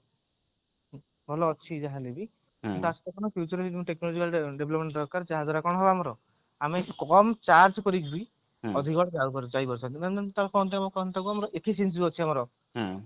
ଭଲ ଅଛି ଯାହା ହେଲେ ବି future development ଦରକାର ଯାହାଦ୍ୱାରା କି କଣ ହବ ଆମର ଆମେ କମ charge କରିକି ବି ଅଧିକ ବାଟ ଯାଇ ପାରୁଛନ୍ତି